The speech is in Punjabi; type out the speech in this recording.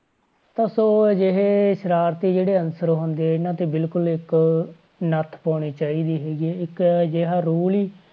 ਤਾਂ ਸੋ ਅਜਿਹੇ ਸਰਾਰਤੀ ਜਿਹੜੇ ਅਨਸਰ ਹੁੰਦੇ ਇਹਨਾਂ ਤੇ ਬਿਲਕੁਲ ਇੱਕ ਨੱਥ ਪਾਉਣੀ ਚਾਹੀਦੀ ਹੈਗੀ ਆ, ਇੱਕ ਅਜਿਹਾ rule ਹੀ